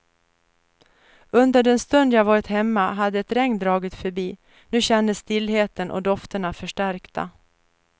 Under den stund jag varit hemma hade ett regn dragit förbi, nu kändes stillheten och dofterna förstärkta.